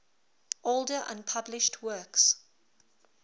older unpublished works